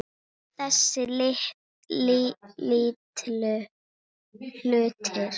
Alla þessa litlu hluti.